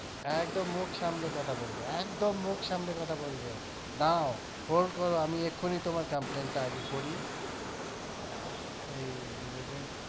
একদম মুখ সামলে কথা বলবে একদম মুখ সামলে কথা বলবে দাড়াও hold করো আমি এক্ষুনি তোমার complaint টা আগে করি